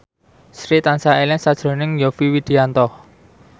Sri tansah eling sakjroning Yovie Widianto